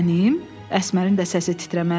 Əsmərin də səsi titrəməyə başladı.